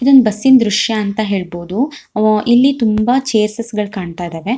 ಇದು ಒಂದು ಬಸ್ಸಿನ ದೃಶ್ಯ ಅಂತ ಹೇಳಬಹುದು ಅವು ಇಲ್ಲಿ ತುಂಬಾ ಚೇರ್ಸ್ಸ್ ಗಳು ಕಾಣತ್ತಾ ಇದಾವೆ.